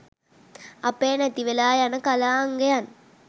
අපේ නැති වෙලා යන කලා අංගයන්